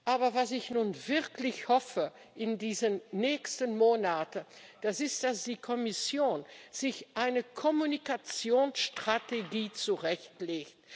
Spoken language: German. Aber was ich nun wirklich hoffe in diesen nächsten Monaten, das ist, dass die Kommission sich eine Kommunikationsstrategie zurechtlegt.